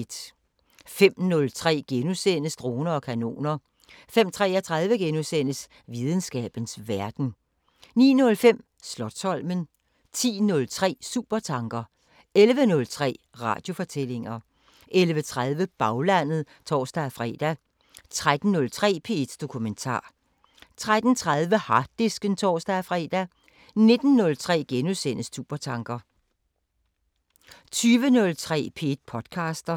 05:03: Droner og kanoner * 05:33: Videnskabens Verden * 09:05: Slotsholmen 10:03: Supertanker 11:03: Radiofortællinger 11:30: Baglandet (tor-fre) 13:03: P1 Dokumentar 13:30: Harddisken (tor-fre) 19:03: Supertanker * 20:03: P1 podcaster